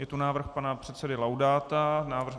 Je to návrh pana předsedy Laudáta.